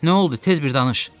Nə oldu, tez bir danış.